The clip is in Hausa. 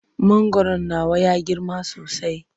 Mangwaron nawa ya girma sosai.